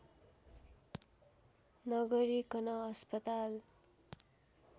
नगरिकन अस्पताल